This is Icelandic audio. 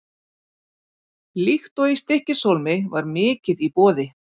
Líkt og í Stykkishólmi var mikið í boði.